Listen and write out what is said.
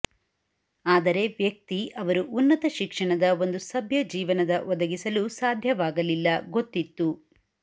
ಆದರೆ ವ್ಯಕ್ತಿ ಅವರು ಉನ್ನತ ಶಿಕ್ಷಣದ ಒಂದು ಸಭ್ಯ ಜೀವನದ ಒದಗಿಸಲು ಸಾಧ್ಯವಾಗಲಿಲ್ಲ ಗೊತ್ತಿತ್ತು